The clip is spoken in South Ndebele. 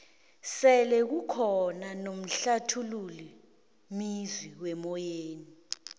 sele kukhona nomhlathululi mezwi wemoyeni